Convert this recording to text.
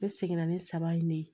Ne seginna ni saba ye ne ye